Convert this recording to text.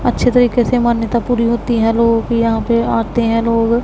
अच्छे तरीके से मान्यता पूरी होती है यहां लोगों की यहां पे आते हैं लोग।